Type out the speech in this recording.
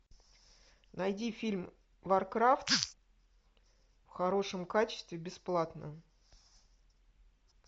найди фильм варкрафт в хорошем качестве бесплатно